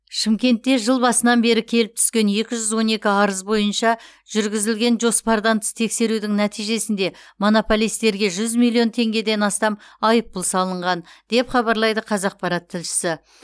шымкентте жыл басынан бері келіп түскен екі жүз он екі арыз бойынша жүргізілген жоспардан тыс тексерудің нәтижесінде монополистерге жүз миллион теңгеден астам айыппұл салынған деп хабарлайды қазақпарат тілшісі